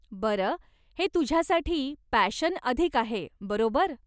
बरं, हे तुझ्यासाठी पॅशन अधिक आहे, बरोबर?